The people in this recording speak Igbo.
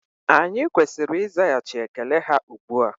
Anyị kwesịrị ịzaghachị ekele ha ugbua